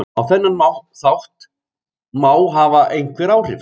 Á þennan þátt má hafa einhver áhrif.